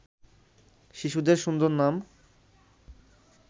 শিশুদের সুন্দর নাম